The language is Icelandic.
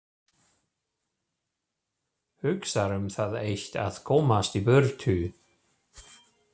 Hugsar um það eitt að komast í burtu.